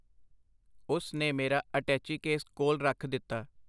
ਉਸ ਨੇ ਮੇਰਾ ਅਟੈਚੀਕੇਸ ਕੋਲ ਰੱਖ ਦਿੱਤਾ.